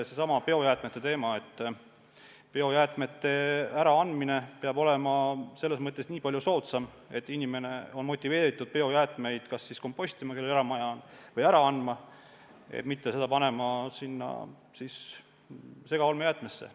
Seesama biojäätmete teema – biojäätmete äraandmine peab olema nii palju soodsam, et inimene on motiveeritud neid kas kompostima, kui tal eramaja on, või ära andma, mitte panema seda kotti segaolmejäätmesse.